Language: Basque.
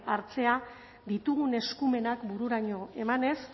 hartzea ditugun eskumenak bururaino emanez